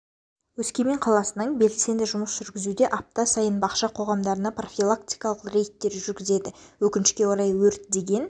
өскемен қаласының белсенді жұмыс жүргізуде апта сайын бақша қоғамдарына профилактикалық рейдтер жүргізіледі өкінішке орай өрт деген